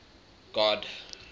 god